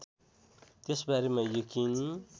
त्यसबारेमा यकिन